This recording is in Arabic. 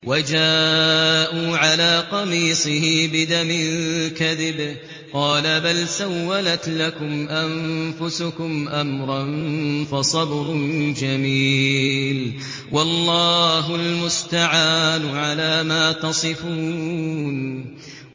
وَجَاءُوا عَلَىٰ قَمِيصِهِ بِدَمٍ كَذِبٍ ۚ قَالَ بَلْ سَوَّلَتْ لَكُمْ أَنفُسُكُمْ أَمْرًا ۖ فَصَبْرٌ جَمِيلٌ ۖ وَاللَّهُ الْمُسْتَعَانُ عَلَىٰ مَا تَصِفُونَ